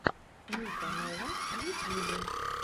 ника нова в ютьюбе